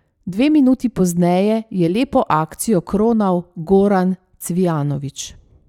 Dve minuti pozneje je lepo akcijo kronal Goran Cvijanović.